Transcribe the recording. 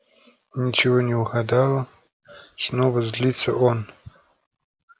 ничего не угадала снова злится он